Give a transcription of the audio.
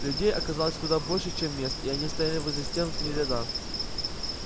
людей оказалось куда больше чем мест и они стояли возле стен в три ряда